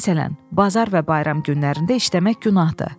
Məsələn, bazar və bayram günlərində işləmək günahdır.